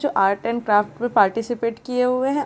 जो art and craft में participate किये हुए हैं।